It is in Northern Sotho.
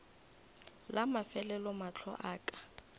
la mafelelo mahlo a ka